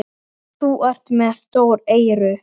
Hún er voða dugleg, stýrið.